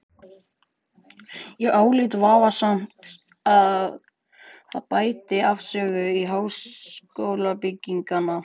Ég álít vafasamt að það bæti afstöðu háskólabygginganna.